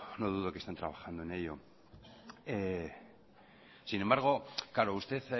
no dudo que estén trabajando en ello sin embargo claro usted